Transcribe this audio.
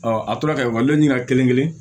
a tora ka ekɔliden ɲinika kelen kelen